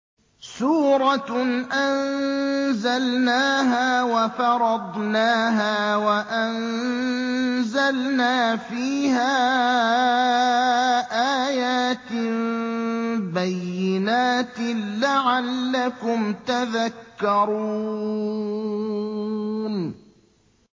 سُورَةٌ أَنزَلْنَاهَا وَفَرَضْنَاهَا وَأَنزَلْنَا فِيهَا آيَاتٍ بَيِّنَاتٍ لَّعَلَّكُمْ تَذَكَّرُونَ